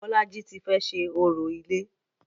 Bolaji ti fẹ́ ṣe orò ilé